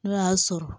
N'o y'a sɔrɔ